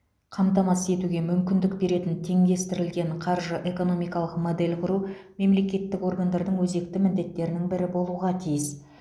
қамтамасыз етуге мүмкіндік беретін теңдестірілген қаржы экономикалық модель құру мемлекеттік органдардың өзекті міндеттерінің бірі болуға тиіс